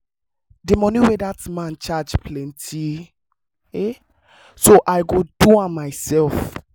the money wey dat man charge plenty so i go do am myself